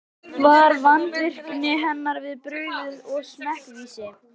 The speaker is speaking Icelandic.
Var vandvirkni hennar við brugðið og smekkvísi.